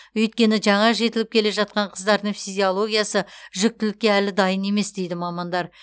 өйткені жаңа жетіліп келе жатқан қыздардың физиологиясы жүктілікке әлі дайын емес дейді мамандар